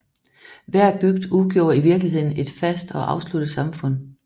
Hver bygd udgjorde i virkeligheden et fast og afsluttet samfund